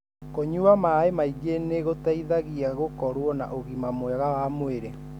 Kunyua maĩ maingĩ nĩ gũteithagia gũkorwo na ũgima mwega wa mwĩrĩ.